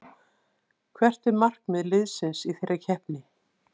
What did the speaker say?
Hver er markmið liðsins í þeirri keppni?